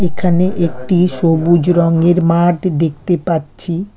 এখানে একটি সবুজ রঙের মাঠ দেখতে পাচ্ছি।